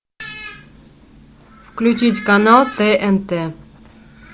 включить канал тнт